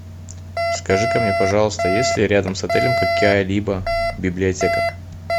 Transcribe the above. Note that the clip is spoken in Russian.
скажи ка мне пожалуйста есть ли рядом с отелем какая либо библиотека